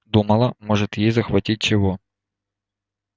думала может ей захватить чего